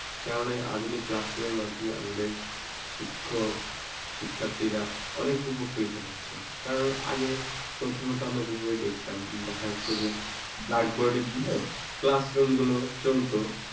কারণ এই আধুনিক classroom মধ্যে আমাদের শিক্ষক শিক্ষার্থীরা অনেক উপকৃত হচ্ছে কারণ আগে প্রথমত আমরা যেভাবে দেখতাম দেখাতো যে blackboard দিল, classroom গুলো চলত।